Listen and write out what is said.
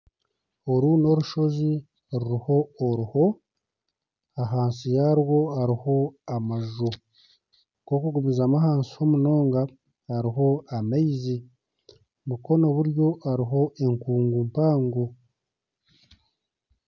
Oru n'orushozi ruriho oruho ahansi yarwo hariho amaju ku orikugumizamu ahansi ho munonga hariho amaizi mukono buryo hariho enkungu mpango